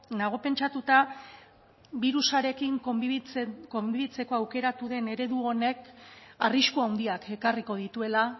nago pentsatuta birusarekin konbibitzeko aukeratu den eredu honek arrisku handiak ekarriko dituela